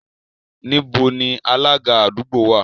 Níbo ni Alága àdúgbò wà?